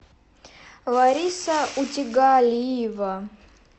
лариса утигалиева